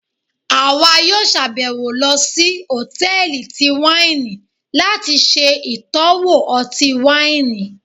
àwá yóò ṣabẹwo lọ sí hòtẹ́ẹ̀lì tí waini lati ṣe itọwo ọti-waini.